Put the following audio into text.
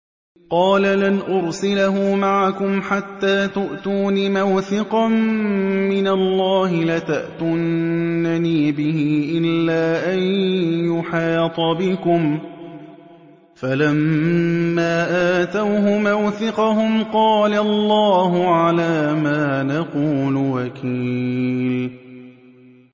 قَالَ لَنْ أُرْسِلَهُ مَعَكُمْ حَتَّىٰ تُؤْتُونِ مَوْثِقًا مِّنَ اللَّهِ لَتَأْتُنَّنِي بِهِ إِلَّا أَن يُحَاطَ بِكُمْ ۖ فَلَمَّا آتَوْهُ مَوْثِقَهُمْ قَالَ اللَّهُ عَلَىٰ مَا نَقُولُ وَكِيلٌ